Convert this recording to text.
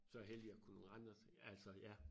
Så heldig jeg kunne rende og så sige altså ja